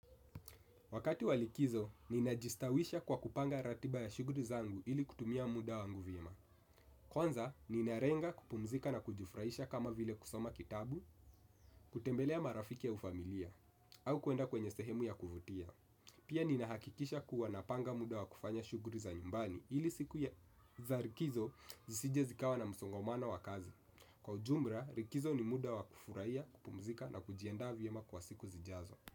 Wakati wa likizo, ninajistawisha kwa kupanga ratiba ya shuguri zangu ili kutumia muda wangu vyema. Kwanza, ninarenga kupumzika na kujifurahisha kama vile kusoma kitabu, kutembelea marafiki au familia, au kuenda kwenye sehemu ya kuvutia. Pia ninahakikisha kuwa napanga muda wa kufanya shuguri za nyumbani ili siku za rikizo zisije zikawa na msongomano wa kazi. Kwa ujumbra, rikizo ni muda wa kufuraia, kupumzika na kujiandaa vyema kwa siku zijazo.